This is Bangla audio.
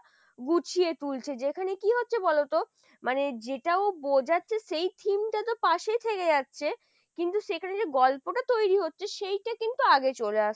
গুছিয়ে তুলছে, যেখানে কি হচ্ছে বলতো? মানে যেটা ও বোঝাচ্ছে সেই theme টা তো পাশেই থেকে যাচ্ছে কিন্তু সেখানে যে গল্পটা তৈরি হচ্ছে সেইটা কিন্তু আগে চলে আসছে।